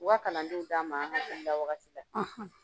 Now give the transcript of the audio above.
U ka kalandenw d'a ma an hakilila wagati la